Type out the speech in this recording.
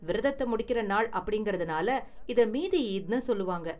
விரதத்தை முடிக்கற நாள் அப்படிங்கறதால இத மீதி ஈத்னு சொல்லுவாங்க.